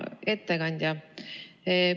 Hea ettekandja!